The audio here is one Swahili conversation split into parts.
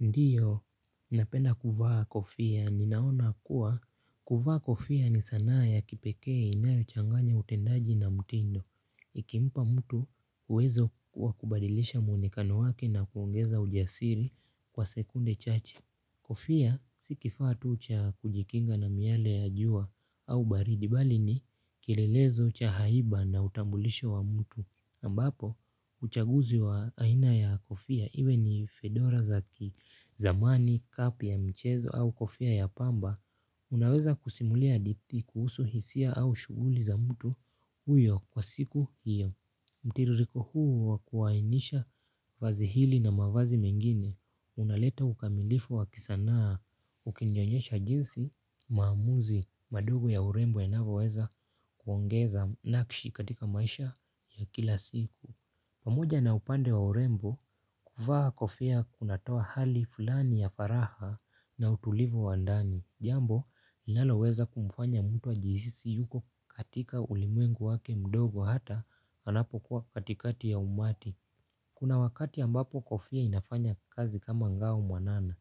Ndiyo, napenda kuvaa kofia. Ninaona kuwa, kuvaa kofia ni sanaa ya kipekee inayochanganya utendaji na mtindo. Ikimpa mtu, uwezo kuwa kubadilisha mwonekano wake na kuongeza ujasiri kwa sekunde chache. Kofia, si kifaa tu cha kujikinga na miale ya jua au baridi, bali ni kilelezo cha haiba na utambulisho wa mtu. Ambapo, uchaguzi wa aina ya kofia, iwe ni fedora za kizamani kapu ya mchezo au kofia ya pamba, unaweza kusimulia hadithi kuhusu hisia au shuguli za mtu huyo kwa siku hiyo. Mtiririko huu wa kuwainisha vazi hili na mavazi mengine unaleta ukamilifu wa kisanaa ukinionyesha jinsi maamuzi madogo ya urembo yanavoweza kuongeza nakshi katika maisha ya kila siku. Pamoja na upande wa urembo kuvaa kofia kunatoa hali fulani ya faragha na utulivu wa ndani. Jambo linalo weza kumfanya mtu ajihisi yuko katika ulimwengu wake mdogo hata anapokuwa katikati ya umati. Kuna wakati ambapo kofia inafanya kazi kama ngao mwanana.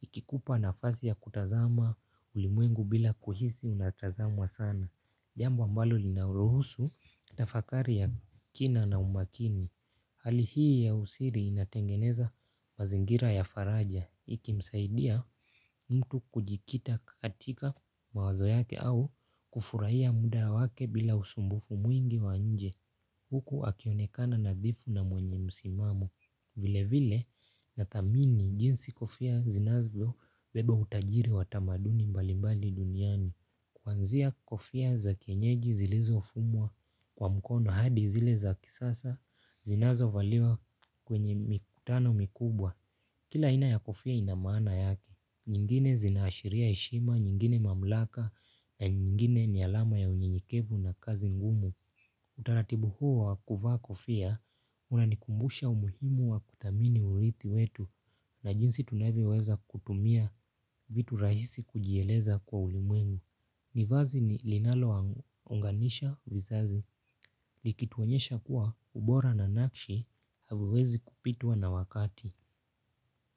Ikikupa nafasi ya kutazama ulimwengu bila kuhisi unatazama sana. Jambo ambalo lina ruhusu na tafakari ya kina na umakini. Hali hii ya usiri inatengeneza mazingira ya faraja, ikimsaidia mtu kujikita katika mawazo yake au kufurahia muda wake bila usumbufu mwingi wa nje. Huku akionekana nadhifu na mwenye msimamo, vile vile nathamini jinsi kofia zinazobeba utajiri wa tamaduni mbalimbali duniani. Kuanzia kofia za kienyeji zilizofumwa kwa mkono hadi zile za kisasa zinazovaliwa kwenye mikutano mikubwa. Kila aina ya kofia ina maana yake. Nyingine zinaashiria heshima, nyingine mamlaka na nyingine ni alama ya unyenyekevu na kazi ngumu. Utaratibu huo wa kuvaa kofia unanikumbusha umuhimu wa kuthamini urithi wetu na jinsi tunavyoweza kutumia vitu rahisi kujieleza kwa ulimwengu. Ni vazi ni linalowaunganisha, vizazi, likituonyesha kuwa ubora na nakshi, haviwezi kupitwa na wakati.